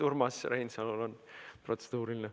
Urmas Reinsalul on protseduuriline.